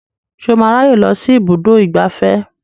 Ṣé o máa ráyè lọ sí ibùdó ìgbafẹ́